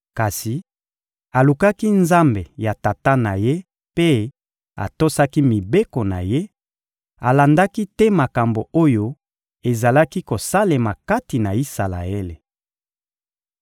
Kasi alukaki Nzambe ya tata na ye mpe atosaki mibeko na Ye: alandaki te makambo oyo ezalaki kosalema kati na Isalaele.